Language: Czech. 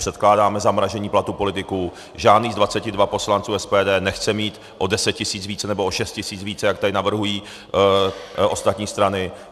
Předkládáme zamrazení platu politiků, žádný z 22 poslanců SPD nechce mít o 10 tisíc víc, nebo o 6 tisíc víc, jak tady navrhují ostatní strany.